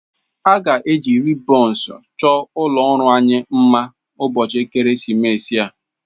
A ga-eji ribons chọọ ụlọ ọrụ anyị mma ụbọchị ekeresimesi a.